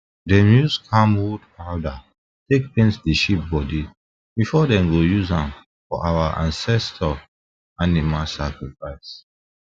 dem use dem use camwood powder take paint the sheep body before them go use am for our ancestor animal sacrifice